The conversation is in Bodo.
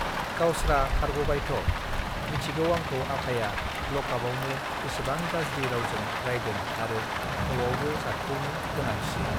गावस्त्रा खारगबायथ मिथिगौ आंखौ आफाया लकाफआवनो बेसेबां गज्रि रावजों रायदों आरो नआवबो जातखौनो दोनाखिसै